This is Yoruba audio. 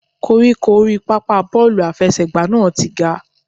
Koríko orí pápá bọ́ọ̀lù àfẹsẹ̀gbá náà ti ga.